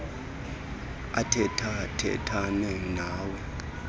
athetha thethane nawe